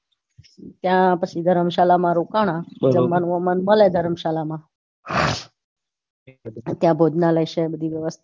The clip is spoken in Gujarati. ત્યાં પછી ધર્મશાળામાં રોકાણા મલે ધર્મશાળામાં ત્યાં ભોજનાલય છે ને બધી વ્યવસ્થા